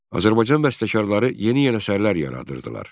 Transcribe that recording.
Azərbaycan bəstəkarları yeni-yeni əsərlər yaradırdılar.